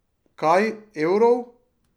Kaj, evrov?